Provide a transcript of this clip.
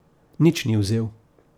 Nič ni vzel.